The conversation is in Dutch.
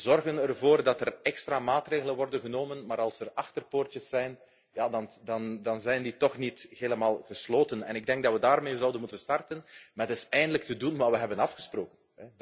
toe. We zorgen ervoor dat er extra maatregelen worden genomen, maar als er achterpoortjes zijn, dan zijn die toch niet helemaal gesloten. Ik denk dat we daarmee zouden moeten starten, met eens eindelijk te doen wat we hebben afgesproken.